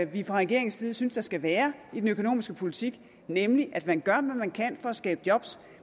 vi fra regeringens side synes der skal være i den økonomiske politik nemlig at man gør hvad man kan for at skabe job